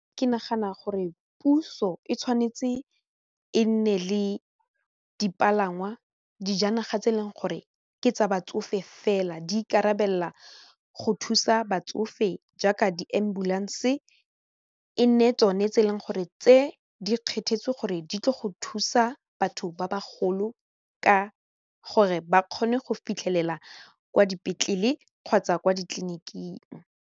Ke nagana gore puso e tshwanetse e nne le dipalangwa, dijanaga tse e leng gore ke tsa batsofe fela di ikarabelela go thusa batsofe jaaka di-ambulance e nne tsone tse e leng gore tse di kgethetsewe gore di tle go thusa batho ba bagolo ka gore ba kgone go fitlhelela kwa dipetlele kgotsa kwa ditleliniking.